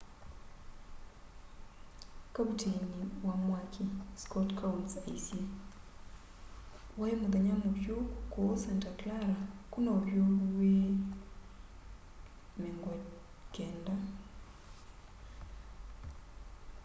kavuteini wa mwaki scott kouns aisye wai muthenya muvyu kuu santa clara kwina uvyuvu wi 90s